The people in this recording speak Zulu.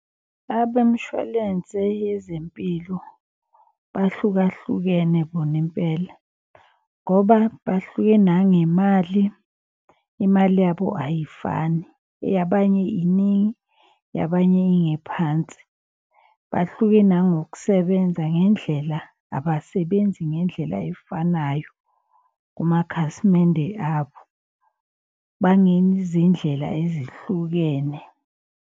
Abemshwalense yezempilo bahlukahlukene bona impela ngoba bahluke nangemali. Imali yabo ayifani eyabanye iningi yabanye ingephansi. Bahluke nangokusebenza ngendlela, abasebenzi ngendlela efanayo kumakhasimende abo. Ezihlukene.